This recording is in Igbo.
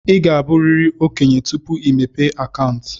Ị ga-abụrịrị okenye tupu ịmepe akaụntụ.